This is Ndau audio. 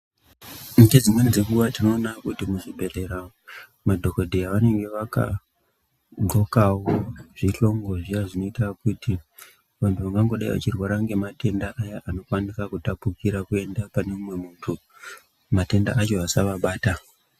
Ngedzimweni dzenguwa tinoona kuti muzvibhedhlera madhokodheya anenge akagqokao zvihlongo zvinoita kuti vanthu vangangodei vachirwara ngematenda aya anokwanisa kutapukire kuenda pane umwe munthu matenda ayo asavabata.